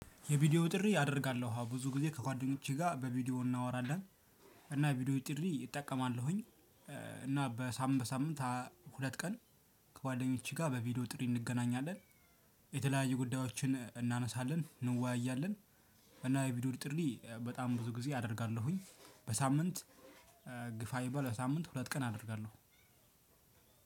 የቪዲዮ ጥሪ አደርጋለሁ። ብዙ ጊዜ ከጓደኞቼ ጋር በቪዲዮ እናወራለን። እና የቪዲዮ ጥሪ እጠቀማለሁኝ። እና በሳምንት በሳምንት ሁለት ቀን ከጓደኞቼ ጋር በቪዲዮ ጥሪ እንገናኛለን። የተለያየ ጉዳዮችን እናነሳለን፣ እንዋያለን እና የቪዲዮ ጥሪ በጣም ብዙ ጊዜ አደርጋለሁኝ። በሳምንት ግፋ ይበል በሳምንት ሁለት ቀን አደርጋለሁ።